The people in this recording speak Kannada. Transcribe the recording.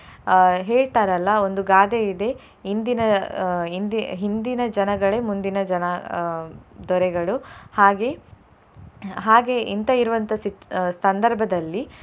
ಅಹ್ ಹೇಳ್ತಾರಲ್ಲ ಒಂದು ಗಾದೆ ಇದೆ ಇಂದಿನ ಅಹ್ ಹಿಂದಿ~ ಹಿಂದಿನ ಜನಗಳೇ ಮುಂದಿನ ಜನ ಅಹ್ ದೊರೆಗಳು ಹಾಗೆ ಹಾಗೆ ಇಂತ ಇರುವಂತಹ ಸ್ಥಿ~ ಸಂದರ್ಭದಲ್ಲಿ.